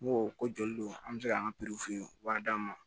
N ko ko joli don an bɛ se k'an ka wari d'an ma